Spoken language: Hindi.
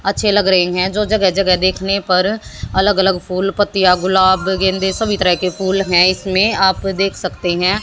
अच्छे लग रहे हैं जो जगह जगह देखने पर अलग अलग फूल पत्तियां गुलाब गेंदे सभी तरह के फूल हैं इसमें आप देख सकते हैं।